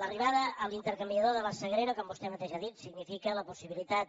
l’arribada a l’intercanviador de la sagrera com vostè mateix ha dit significa la possibilitat